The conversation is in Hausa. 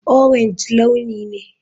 Orange launi ne.